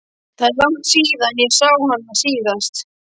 Hvað er langt síðan ég sá hana síðast?